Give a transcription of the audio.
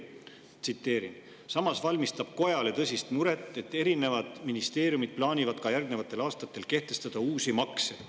Tsiteerin: "Samas valmistab kojale tõsist muret, et erinevad ministeeriumid plaanivad ka järgnevatel aastatel kehtestada uusi makse.